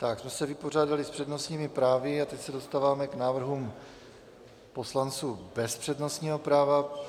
Tím jsme se vypořádali s přednostními právy a teď se dostáváme k návrhům poslanců bez přednostního práva.